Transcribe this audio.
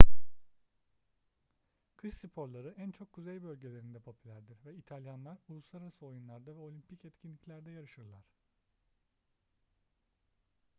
kış sporları en çok kuzey bölgelerinde popülerdir ve i̇talyanlar uluslararası oyunlarda ve olimpik etkinliklerde yarışırlar